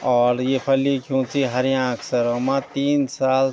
और येफर लिख्यूं च हरेयाँ अक्षरों मा तीन साल।